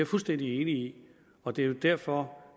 fuldstændig enig i og det er derfor